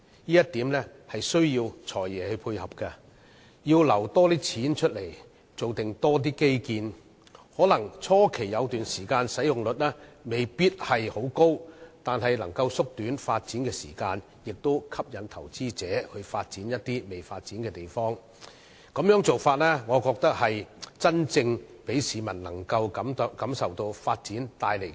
這一點需要"財爺"配合，預留更多資金提供更多基建，可能在初期一段時間使用率未必會很高，但卻可以縮短發展時間，同時可以吸引投資者發展一些仍未發展的地方，我認為這種做法可讓市民真正感受到發展帶來的改變。